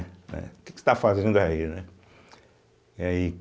Eh o que que você está fazendo aí, né? aí